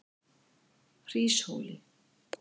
Hríshóli